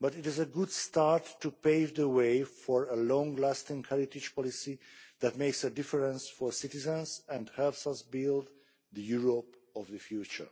but it is a good start to pave the way for a long lasting heritage policy that makes a difference for citizens and helps us build the Europe of the future.